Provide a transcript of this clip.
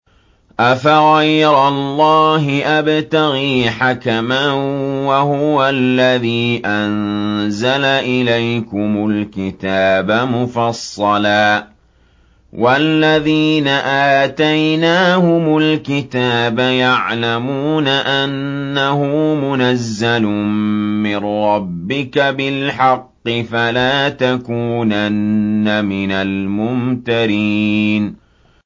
أَفَغَيْرَ اللَّهِ أَبْتَغِي حَكَمًا وَهُوَ الَّذِي أَنزَلَ إِلَيْكُمُ الْكِتَابَ مُفَصَّلًا ۚ وَالَّذِينَ آتَيْنَاهُمُ الْكِتَابَ يَعْلَمُونَ أَنَّهُ مُنَزَّلٌ مِّن رَّبِّكَ بِالْحَقِّ ۖ فَلَا تَكُونَنَّ مِنَ الْمُمْتَرِينَ